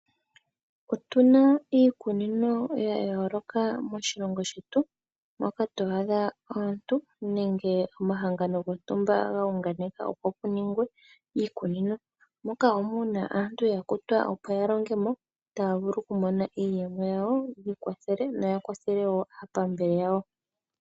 Otuna iikunino ya yooloka moshilongo shetu, moka to adha aantu nenge, omahangano gontumaba ga hunganeka opo kuningwe iikunino, moka wo muna aantu ya kutwa, opo yalonge mo, taya vulu okumona iiyemo yawo, yi ikwathele, noya kwathele wo aapambele yawo.